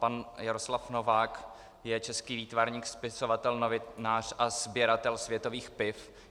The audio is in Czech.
Pan Jaroslav Novák je český výtvarník, spisovatel, novinář a sběratel světových piv.